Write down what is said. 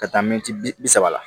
Ka taa mɛtiri bi saba la